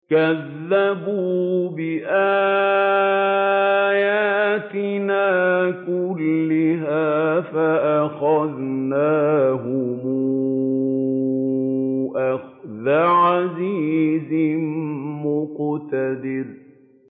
كَذَّبُوا بِآيَاتِنَا كُلِّهَا فَأَخَذْنَاهُمْ أَخْذَ عَزِيزٍ مُّقْتَدِرٍ